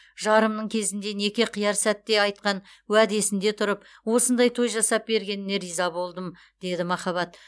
жарымның кезінде неке қияр сәтте айтқан уәдесінде тұрып осындай той жасап бергеніне риза болдым деді махаббат